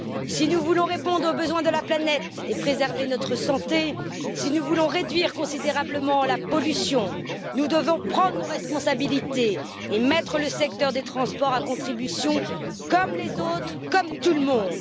Si nous voulons répondre aux besoins de la planète et préserver notre santé, si nous voulons réduire considérablement la pollution, nous devons prendre nos responsabilités et mettre le secteur des transports à contribution, comme les autres, comme tout le monde.